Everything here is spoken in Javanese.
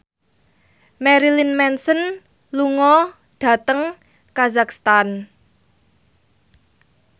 Marilyn Manson lunga dhateng kazakhstan